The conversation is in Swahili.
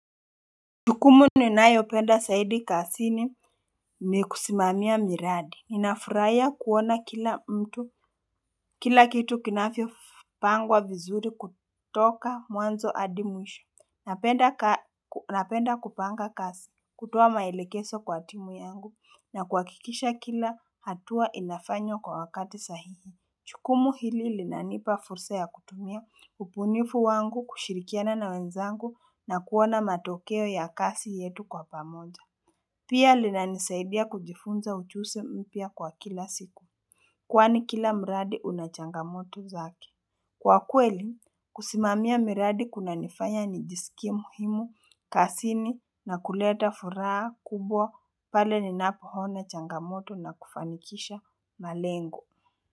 Jukumu ninayopenda zaidi kazini ni kusimamia miradi. Ninafurahia kuona kila mtu kila kitu kinavyopangwa vizuri kutoka mwanzo hadi mwisho, napenda Napenda kupanga kazi, kutoa maelekezo kwa timu yangu na kuhakikisha kila hatua inafanywa kwa wakati sahihi. Jukumu hili linanipa fursa ya kutumia ubunifu wangu kushirikiana na wenzangu na kuona matokeo ya kazi yetu kwa pamoja Pia linanisaidia kujifunza uchuji mpya kwa kila siku Kwani kila mradi una changamoto zake. Kwa kweli, kusimamia miradi kunanifanya nijisikie muhimu kazini na kuleta furaha kubwa pale ninapoona changamoto na kufanikisha malengo.